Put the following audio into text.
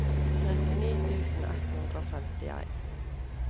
trettini tusen ett hundre og femtien